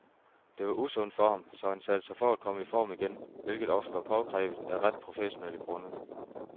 Det var usundt for ham, så han satte sig for at komme i form igen, hvilket også var påkrævet af rent professionelle grunde.